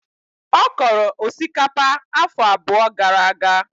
Ọ kọrọ osikapa afọ abụọ gara aga.